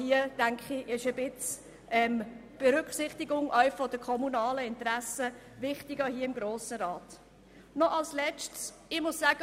Hier ist meines Erachtens die Berücksichtigung der kommunalen Interessen durch den Grossen Rat richtig.